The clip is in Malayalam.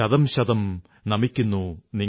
അതേപോലെയീ ഞാനും ശതംശതം നമിക്കുന്നു നിങ്ങളെ